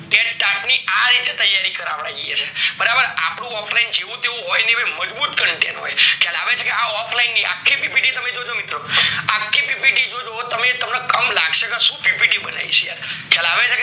TAT ની આ રીતે તૈયારી કરાવયે છીએ બરાબર અપડું offline જેવું તેવું હોય નાય મજબુત content હોય ખ્યાલ આવે છે આ offline ની આખી PPT જોજો તમે મિત્રો આખી PPT તમે જોજો તમને કમ લાગશે કે કેમ બનાયી છે